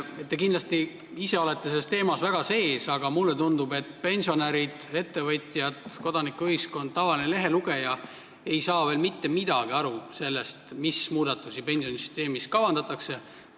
Teie kindlasti olete selles teemas väga sees, aga mulle tundub, et pensionärid, ettevõtjad, kodanikuühiskond, tavaline lehelugeja ei saa mitte midagi aru, mis muudatusi pensionisüsteemis kavandatakse.